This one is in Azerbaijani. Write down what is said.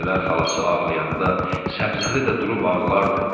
Gecələr xalası ağlayanda, Səbzəli də durub ağlardı.